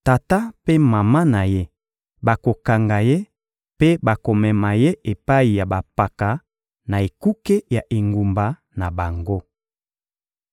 tata mpe mama na ye bakokanga ye mpe bakomema ye epai ya bampaka na ekuke ya engumba na bango.